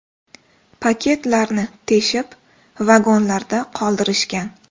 Paketlarni teshib vagonlarda qoldirishgan.